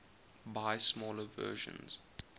buy smaller versions